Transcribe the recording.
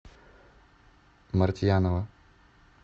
мартьянова